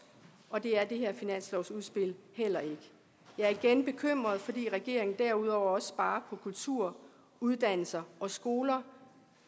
og det er det her finanslovsudspil heller ikke jeg er igen bekymret fordi regeringen derudover også sparer på kultur uddannelser og skoler